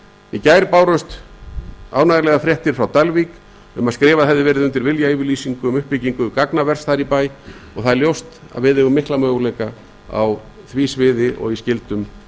í gær bárust til að mynda þær ánægjulegu fréttir frá dalvík að skrifað hefði verið undir viljayfirlýsingu um uppbyggingu gagnavers þar í bæ og ljóst er að við eigum mikla möguleika á því sviði og í skyldum